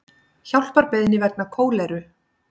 Hjálparbeiðni vegna kóleru